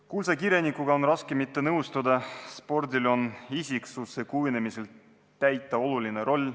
Kuulsa kirjanikuga on raske mitte nõustuda – spordil on isiksuse kujunemisel täita oluline roll.